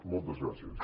moltes gràcies